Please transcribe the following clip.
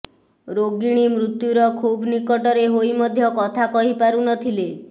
ରୋଗିଣୀ ମୃତ୍ୟୁର ଖୁବ୍ ନିକଟରେ ହୋଇ ମଧ୍ୟ କଥା କହିପାରୁଥିଲେ